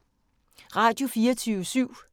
Radio24syv